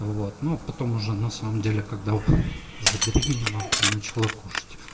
вот ну потом уже на самом деле когда забеременела то начала кушать